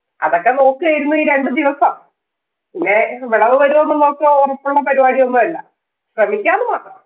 അതൊക്കെ നോക്കുകയായിരുന്നു ഈ രണ്ടു ദിവസം. പിന്നെ വെളവ് വരുവോന്ന് നോക്കുക ഒറപ്പുള്ള പരിപാടിയൊന്നും അല്ല. ശ്രമിക്കാന്ന് മാത്രം.